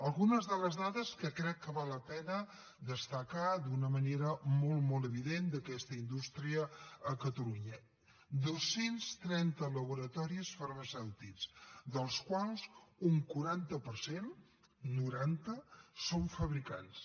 algunes de les dades que crec que val la pena destacar d’una manera molt molt evident d’aquesta indústria a catalunya dos cents i trenta laboratoris farmacèutics dels quals un quaranta per cent noranta són fabricants